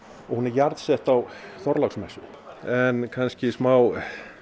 og hún er jarðsett á Þorláksmessu en kannski smá